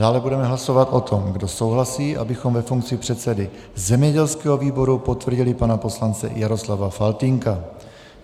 Dále budeme hlasovat o tom, kdo souhlasí, abychom ve funkci předsedy zemědělského výboru potvrdili pana poslance Jaroslava Faltýnka.